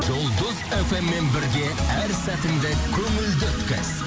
жұлдыз фммен бірге әр сәтіңді көңілді өткіз